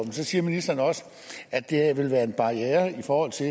siger ministeren også at det vil være en barriere i forhold til